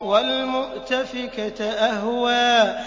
وَالْمُؤْتَفِكَةَ أَهْوَىٰ